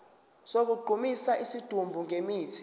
sokugqumisa isidumbu ngemithi